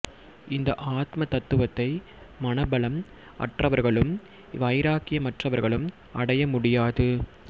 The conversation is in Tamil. இந்த ஆத்ம தத்துவத்தை மனபலம் அற்றவர்களும் வைராக்கியமற்றவர்களும் அடைய முடியாது